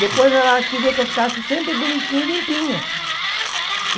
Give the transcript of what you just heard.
Depois ela queria que eu ficasse sempre bonitinha e limpinha.